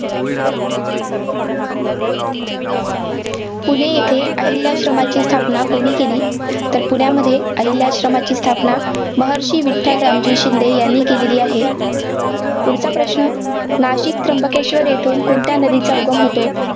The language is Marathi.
पुणे येथे अहिल्या आश्रमाची स्थापना कुणी केली? तर पुण्यामध्ये अहिल्या आश्रमाची स्थापना महर्षी विठ्ठल रामजी शिंदे यांनी केलेली आहे. पुढचा प्रश्न नाशिक त्र्यंबकेश्वर येथून कोणत्या नदीचा उगम होतो?